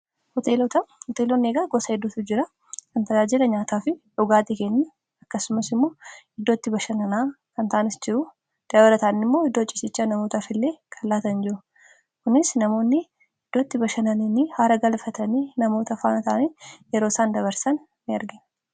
hoteelooni gosaa hedduutu jiraa kantajaajila nyaataa fi dhugaa kenuu ,akkasumas immoo iddootti bashanan kantaanis jiru dabalaataani immoo iddoo cisiichaa namootaaf illee kaan llaatan jiruu kunis namoonni iddootti bashananini haara galfatanii namoota faanataanii yeroo isaan dabarsan in argaatu.